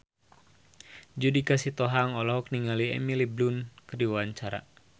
Judika Sitohang olohok ningali Emily Blunt keur diwawancara